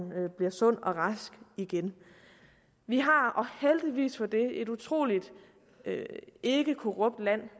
bliver sund og rask igen vi har og heldigvis for det et utrolig ikkekorrupt land